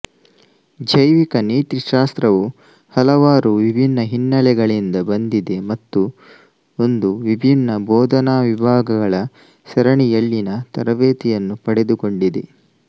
ಜೈವಿಕ ನೀತಿಶಾಸ್ತ್ರವು ಹಲವಾರು ವಿಭಿನ್ನ ಹಿನ್ನೆಲೆಗಳಿಂದ ಬಂದಿದೆ ಮತ್ತು ಒಂದು ವಿಭಿನ್ನ ಭೋದನಾ ವಿಭಾಗಗಳ ಸರಣಿಯಲ್ಲಿನ ತರಬೇತಿಯನ್ನು ಪಡೆದುಕೊಂಡಿದೆ